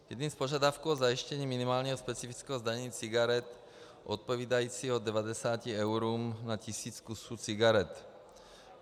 Jedním z požadavků je zajištění minimálního specifického zdanění cigaret odpovídajícího 90 eurům na tisíc kusů cigaret.